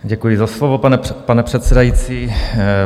Děkuji za slovo, pane předsedající.